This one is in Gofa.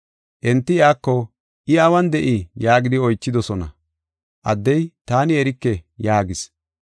Enti iyako, “I awun de7ii?” yaagidi oychidosona. Addey, “Taani erike” yaagis.